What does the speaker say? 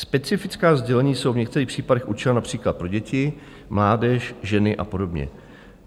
Specifická sdělení jsou v některých případech určena například pro děti, mládež, ženy a podobně.